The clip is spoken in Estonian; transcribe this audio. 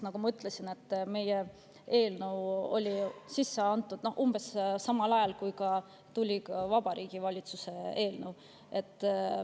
Nagu ma ütlesin, meie eelnõu oli sisse antud umbes samal ajal, kui tuli Vabariigi Valitsuse eelnõu.